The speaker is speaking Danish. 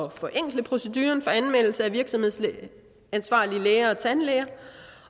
at forenkle proceduren for anmeldelse af virksomhedsansvarlige læger og tandlæger